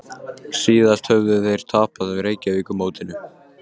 Síðast höfðu þeir tapað Reykjavíkurmótinu